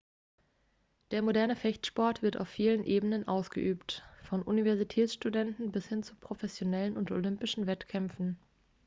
der moderne fechtsport wird auf vielen ebenen ausgeübt von universitätsstudenten bis hin zu professionellen und olympischen wettkämpfen